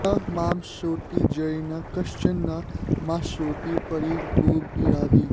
न मामश्नोति जरिना कश्चन न माश्नोति परि गोभिराभिः